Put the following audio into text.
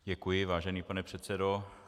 Děkuji, vážený pane předsedo.